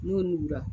N'o mugu la